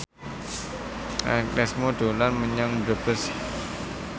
Agnes Mo dolan menyang Brebes